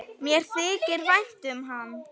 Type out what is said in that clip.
Mér þykir vænt um hann.